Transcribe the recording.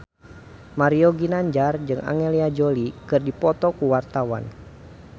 Mario Ginanjar jeung Angelina Jolie keur dipoto ku wartawan